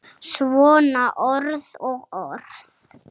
Svona orð og orð.